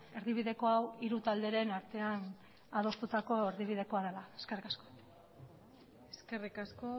erdibideko hau hiru talderen artean adostutako erdibidekoa dela eskerrik asko eskerrik asko